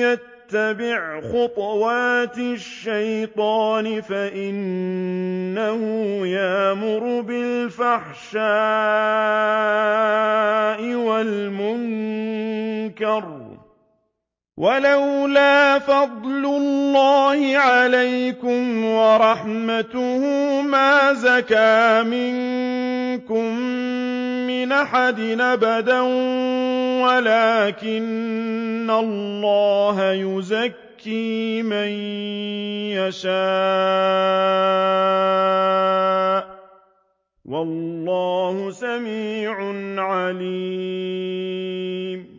يَتَّبِعْ خُطُوَاتِ الشَّيْطَانِ فَإِنَّهُ يَأْمُرُ بِالْفَحْشَاءِ وَالْمُنكَرِ ۚ وَلَوْلَا فَضْلُ اللَّهِ عَلَيْكُمْ وَرَحْمَتُهُ مَا زَكَىٰ مِنكُم مِّنْ أَحَدٍ أَبَدًا وَلَٰكِنَّ اللَّهَ يُزَكِّي مَن يَشَاءُ ۗ وَاللَّهُ سَمِيعٌ عَلِيمٌ